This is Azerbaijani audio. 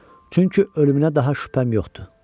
Çünki ölümünə daha şübhəm yox idi.